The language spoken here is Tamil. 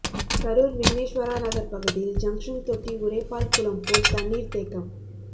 கரூர் விக்னேஸ்வரா நகர் பகுதியில் ஜங்ஷன் தொட்டி உடைப்பால் குளம் போல் தண்ணீர் தேக்கம்